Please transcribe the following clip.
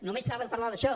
només saben parlar d’això